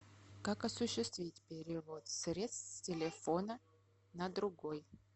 как осуществить перевод средств с телефона на другой